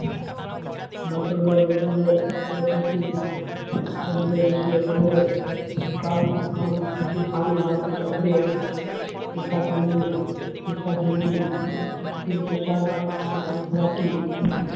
ભાષા ના લોકો ને ભરી વાતો સાંભળી હતી તથા તેમને